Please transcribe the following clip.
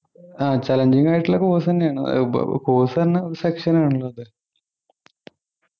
ആഹ് challenging ആയിട്ടുള്ള course തന്നെയാണ് course തന്നെ section ആണല്ലോ അത്